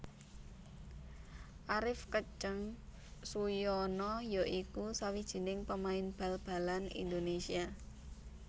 Arif Keceng Suyono ya iku sawijining pemain bal balan Indonésia